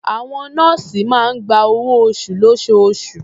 Àwọn nọ́ọ̀sì máa ń gba owó-oṣù lóṣooṣù.